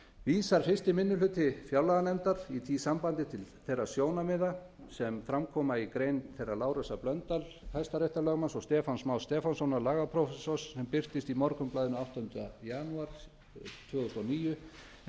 vísar fyrsti minni hluti fjárlaganefndar í því sambandi til þeirra sjónarmiða sem fram koma í grein þeirra lárusar blöndals hæstaréttarlögmanns og stefáns más stefánssonar lagaprófessors sem birtist í morgunblaðinu áttundi janúar tvö þúsund og níu